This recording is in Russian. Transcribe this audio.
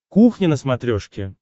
кухня на смотрешке